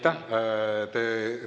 Aitäh!